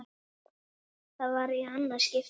Það var í annað skipti.